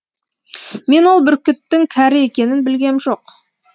мен ол бүркіттің кәрі екенін білгем жоқ